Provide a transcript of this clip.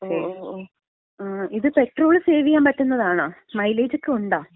ഓ ഓ, ഇത് petrol save ചെയ്യാമ്പറ്റുന്നതാണോ? മൈലേജക്ക ഉണ്ടാ?